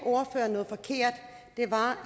og det var